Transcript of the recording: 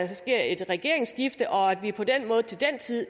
der sker et regeringsskifte og vi på den måde til den tid